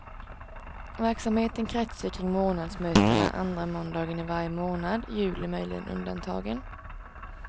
Verksamheten kretsar kring månadsmötena andra måndagen i varje månad, juli möjligen undantagen.